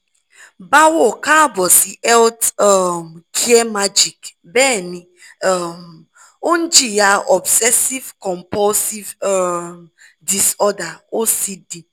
báwo kaabo si health um care magic bẹ́ẹ̀ni um ó ń jìyà obsessive compulsive um disorder ocd